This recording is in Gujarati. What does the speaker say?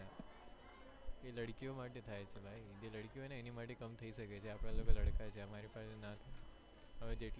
એ લડકીઓ માટે થાય છે ભાઈ જે લડકીઓ હોય એની માટે કમ થઇ સકે છે આપણા લોકો લડકા છીએ અમારી પાસે